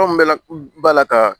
Anw bɛ la bala la ka